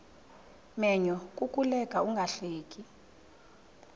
menyo kukuleka ungahleki